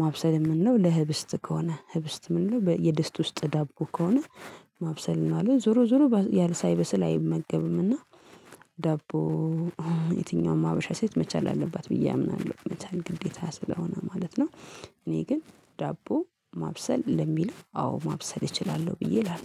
ማብሰል የምንለው ለህብስት ከሆነ ህብስት የምንለው የድስት ውስጥ ዳቦ ከሆነ ማብሰል እንለዋለን ዞሮ ዞሮ ያም ሳይበሰል አይመገብም። እና ዳቦ የትኛውም ሀበሻ ሴት መቻል አለባት ብዬ አምናለሁ። መቼ ግዴታ ስለሆነ ማለት ነው። እኔ ግን ዳቦ ማብሰል ለሚለው አዎ ማብሰል እችላለሁ ብዬ እላለሁ